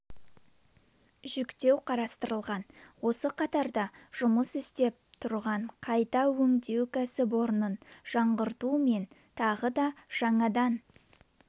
жүктеу қарастырылған осы қатарда жұмыс істеп тұрған қайта өңдеу кәсіпорынын жаңғырту мен тағы да жаңадан